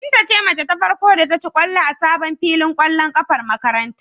Binta ce mace ta farko da ta ci ƙwallo a sabon filin ƙwallon ƙafar makarantar.